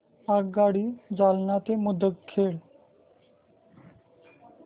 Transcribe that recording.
आगगाडी जालना ते मुदखेड